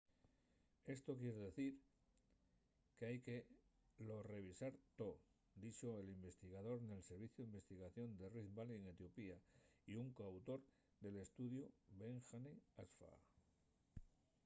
esto quier dicir qu’hai que lo revisar too” dixo l’investigador nel serviciu d’investigación de rift valley n’etiopía y un co-autor del estudiu berhane asfaw